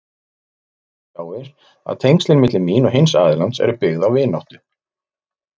Það tjáir að tengslin milli mín og hins aðilans eru byggð á vináttu.